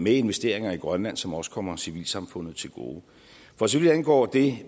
investeringer i grønland som også kommer civilsamfundet til gode for så vidt angår det